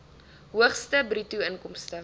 hoogste bruto inkomste